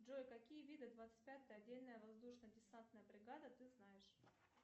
джой какие виды двадцать пятая отдельная воздушно десантная бригада ты знаешь